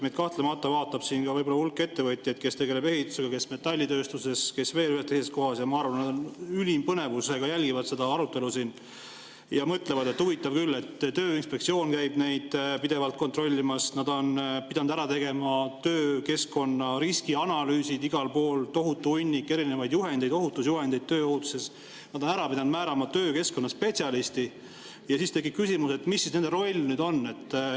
Meid kahtlemata vaatab ka hulk ettevõtjaid, kes tegelevad ehitusega, kes metallitööstuses, kes veel ühes või teises kohas, ja ma arvan, et nad ülima põnevusega jälgivad seda arutelu ja mõtlevad, et huvitav küll, Tööinspektsioon käib neid pidevalt kontrollimas, nad on pidanud ära tegema töökeskkonna riskianalüüsid igal pool, tohutu hunnik erinevaid juhendeid, ohutusjuhendeid tööohutuses, nad on pidanud määrama töökeskkonna spetsialisti – ja siis tekib küsimus, et mis siis nende roll nüüd on.